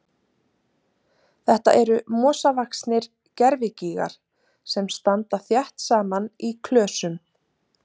Þetta eru mosavaxnir gervigígar sem standa þétt saman í klösum.